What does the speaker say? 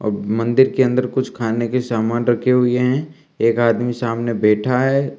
अब मंदिर के अंदर कुछ खाने के सामान रखे हुए हैं एक आदमी सामने बैठा है।